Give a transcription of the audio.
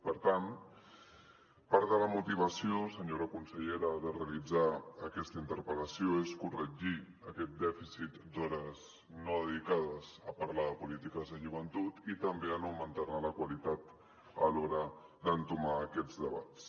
per tant part de la motivació senyora consellera de realitzar aquesta interpel·lació és corregir aquest dèficit d’hores no dedicades a parlar de polítiques de joventut i també a augmentar ne la qualitat a l’hora d’entomar aquests debats